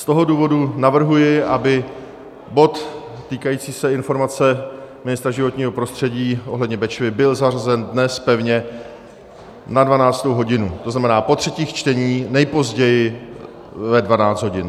Z toho důvodu navrhuji, aby bod týkající se informace ministra životního prostředí ohledně Bečvy byl zařazen dnes pevně na 12. hodinu, to znamená po třetích čteních, nejpozději ve 12 hodin.